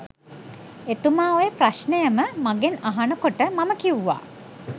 එතුමා ඔය ප්‍රශ්නයම මගෙන් අහන කොට මම කිව්වා